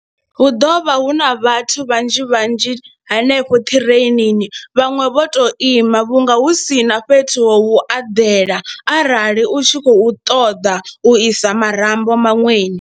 Hu ḓovha hu na vhathu vhanzhi vhanzhi hanefho ṱireinini, vhaṅwe vho to ima vhunga hu si na fhethu ho vhu eḓela arali u tshi khou ṱoḓa u isa marambo maṅweni.